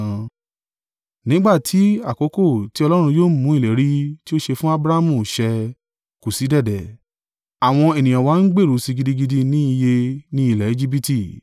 “Nígbà tí àkókò tí Ọlọ́run yóò mú ìlérí tí ó ṣe fún Abrahamu ṣẹ kù sí dẹ̀dẹ̀, àwọn ènìyàn wa ń gbèrú si gidigidi ní iye ní ilẹ̀ Ejibiti.